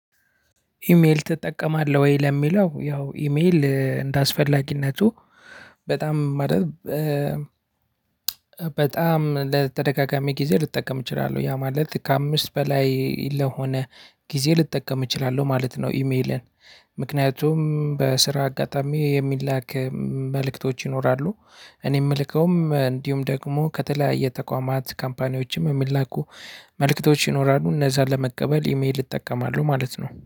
ኢሜይል ትጠቀማለህወይ? ለሚለው ያው ኢሜይል እንደአስፈላጊነቱ በጣም። በጣም ለተደጋጋሚ ጊዜ ልጠቀም እችላለሁ ያ ማለት ከአምስት በላይ ለሆነ ጊዜ ልጠቀም እችላለሁ ማለት ነው። ኢሜልን ምክንያቱም በስራ አጋጣሚ የሚላክ መልእክቶች ይኖራሉ። እኔ የምልከውም እንዲሁም ደግሞ ከተለያየ ተቋማት ካምፓኒዎችም የሚላኩ መልእክቶች ይኖራሉ እነዛን ለመቀበል ኢሜል እጠቀማለሁ ማለት ነው